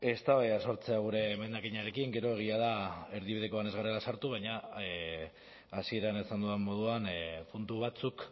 eztabaida sortzea gure emendakinarekin gero egia da erdibidekoan ez garela sartu baina hasieran esan dudan moduan puntu batzuk